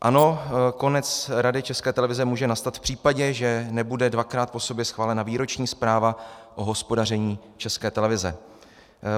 Ano, konec Rady České televize může nastat v případě, že nebude dvakrát po sobě schválena výroční zpráva o hospodaření České televize.